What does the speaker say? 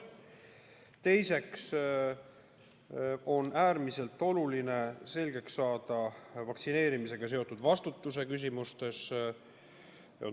Teiseks on äärmiselt oluline saada selgust vaktsineerimisega seotud vastutuse küsimuses.